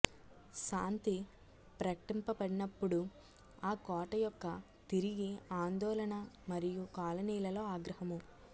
శాంతి ప్రకటింపబడినప్పుడు ఆ కోట యొక్క తిరిగి ఆందోళన మరియు కాలనీలలో ఆగ్రహము